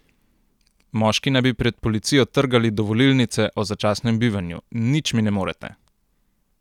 Moški naj bi pred policijo trgali dovolilnice o začasnem bivanju: 'Nič mi ne morete.